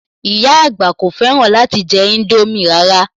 Ìyá àgbà kò fẹ́ràn láti jẹ indomie rara